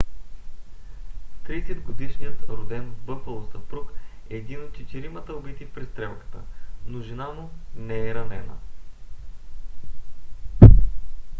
30 - годишният роден в бъфало съпруг е един от четиримата убити в престрелката но жена му не е ранена